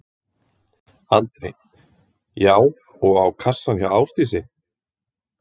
Andri: Já og á kassann hjá Ásdísi?